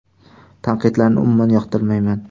Tanqidlarni umuman yoqtirmayman.